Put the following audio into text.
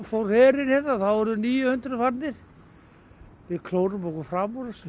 fór herinn þá voru níu hundruð farnir við klórum okkur fram úr þessu